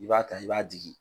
I b'a ta i b'a digi